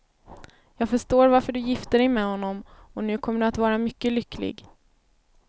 Jag förstår varför du gifte dig med honom, och nu kommer du att vara mycket lycklig.